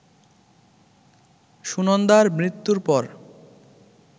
সুনন্দার মৃত্যুর পর